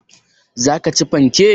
Zaka ci fanke?